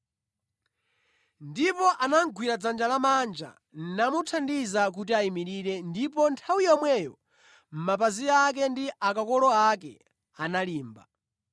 Ndipo anamugwira dzanja lamanja, namuthandiza kuti ayimirire ndipo nthawi yomweyo mapazi ake ndi akakolo ake analimba.